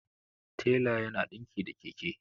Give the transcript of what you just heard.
tela yana dinki da Keke